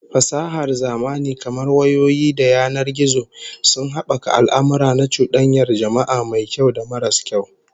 Fasahar zamani kamar wayoyi da yanar gizo sun habaka al'amurra na cudanyar jama'a, mai kyau da maras kyau